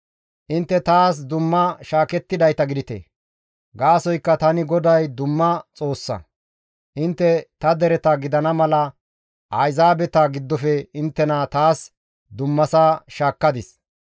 Intte taas dumma shaakettidayta gidite; gaasoykka tani GODAY dumma Xoossa; intte ta dereta gidana mala Ayzaabeta giddofe tani inttena taas dummasa shaakkadis.